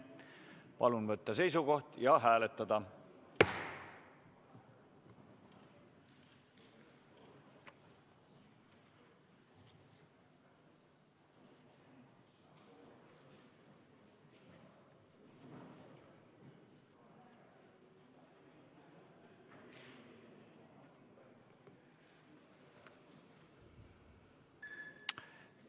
Palun võtta seisukoht ja hääletada!